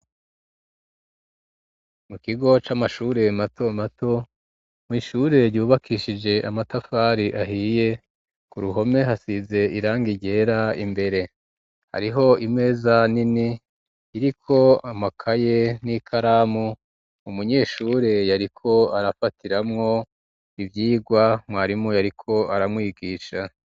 Mu kigo c'amashure mato mato mw'ishure ryubakishije amatafari ahiye ku ruhome hasize irangi ryera imbere hariho imeza nini iriko amakaye n'ikaramu umunyeshure yariko arafatiramwo ivyirwa mwarimu yariko aramwigisha